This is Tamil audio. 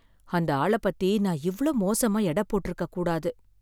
அந்த ஆள பத்தி நான் இவ்ளோ மோசமா எட போட்ருக்கக் கூடாது